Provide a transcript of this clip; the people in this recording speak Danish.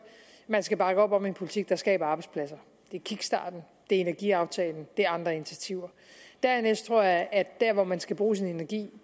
at man skal bakke op om en politik der skaber arbejdspladser det er kickstarten det er energiaftalen det er andre initiativer dernæst tror jeg at der hvor man skal bruge sin energi